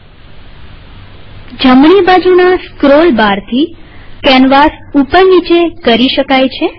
વળી જમણી બાજુના સ્ક્રોલ બારથી કેનવાસ ઉપર નીચે કરી શકાય